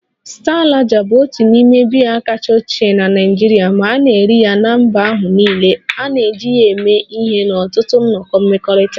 Star lager bụ otu n'ime biya kachasị ochie na Nigeria ma na-eri ya na mba ahụ niile, a na-eji ya eme ihe n'ọtụtụ nnọkọ mmekọrịta